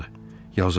Yazıq balam.